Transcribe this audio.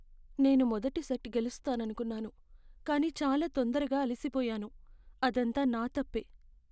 నేను మొదటి సెట్ గెలుస్తాననుకున్నాను, కానీ చాలా తొందరగా అలిసిపోయాను. అదంతా నా తప్పే.